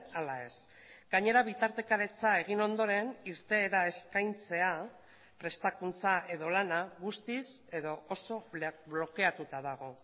ala ez gainera bitartekaritza egin ondoren irteera eskaintzea prestakuntza edo lana guztiz edo oso blokeatuta dago